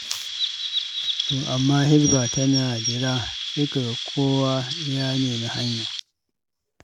To amma Hisba tana dira, sai ka ga kowa ya nemi hanya.